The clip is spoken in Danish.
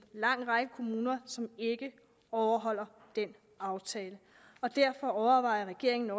lang række kommuner ikke overholder den aftale og derfor overvejer regeringen